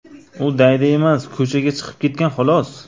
U daydi emas, ko‘chaga chiqib ketgan, xolos.